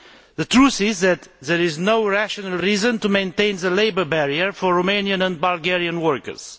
The truth is that there is no rational reason to maintain the labour barrier for Romanian and Bulgarian workers.